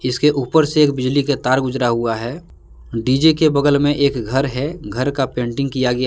इसके ऊपर से एक बिजली के तार गुजरा हुआ है डी_जे के बगल में एक घर है घर का पेंटिंग किया गया है।